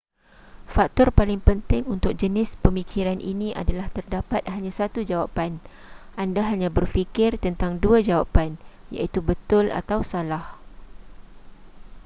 faktor paling penting untuk jenis pemikiran ini adalah terdapat hanya satu jawapan anda hanya berfikir tentang dua jawapan iaitu betul atau salah